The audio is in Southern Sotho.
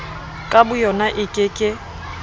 ka boyona e ke ke